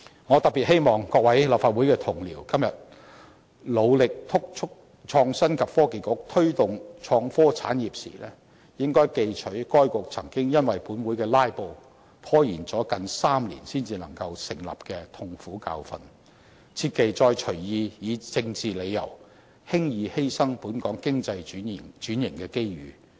我特別希望各位立法會同事今天努力督促創新及科技局推動創科產業時，記取該局曾經因為本會的"拉布"，拖延了近3年才能成立的痛苦教訓，切忌再隨意以政治理由，輕易犧牲本港經濟轉型的機遇。